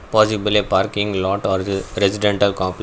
possibly parking lot residental comple--